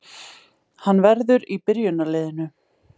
Hann verður í byrjunarliðinu